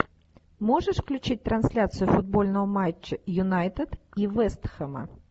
можешь включить трансляцию футбольного матча юнайтед и вест хэма